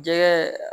Jɛgɛ